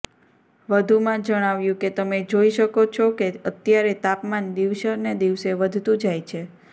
વધુમાં જણાવ્યું કે તમે જોઈ શકો છો કે અત્યારે તાપમાન દિવસને દિવસે વધતુ જાય છે